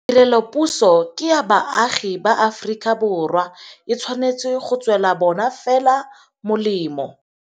Tirelopuso ke ya baagi ba Aforika Borwa. E tshwanetse go tswela bona fela molemo.